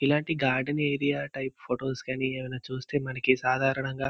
ఇలాంటి garden area type photos గానీ ఏదైనా చూస్తే మనకి సాధారణంగా --